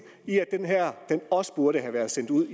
i at det her også burde have været sendt ud